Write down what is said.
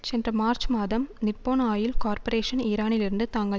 சென்ற மார்ச் மாதம் Nippon Oil Corporation ஈரானிலிருந்து தாங்கள்